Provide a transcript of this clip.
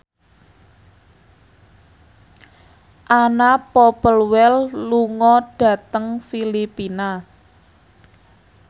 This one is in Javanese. Anna Popplewell lunga dhateng Filipina